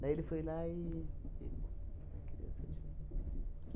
Daí ele foi lá e pegou a criança de mim.